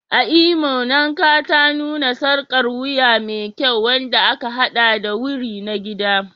A Imo, Nnekata nuna sarƙar wuya me kyau wadda aka haɗa da wuri na gida.